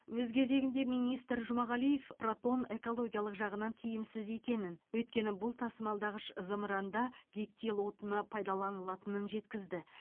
өз кезегінде министр жұмағалиев протон экологиялық жағынан тиімсіз екенін өйткені бұл тасымалдағыш зымыранда гептил отыны пайдаланылатынын жеткізді